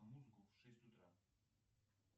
музыку в шесть утра